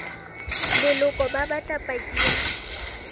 leloko ba batla paki ya